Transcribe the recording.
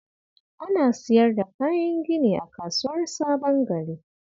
Ana siyar da kayan gini a Kasuwar Sabon Gari